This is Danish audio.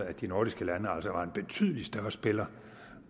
at de nordiske lande altså var en betydelig større spiller